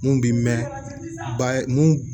Mun bi mɛn ba ye mun